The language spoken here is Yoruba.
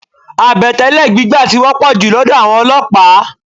Àbẹ̀tẹ́lẹ̀ gbígbà tí wọ́pọ̀ jù lọ́dọ̀ àwọn olọ́pàá.